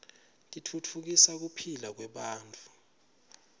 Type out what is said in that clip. titfutfukisa kuphila kwebantfu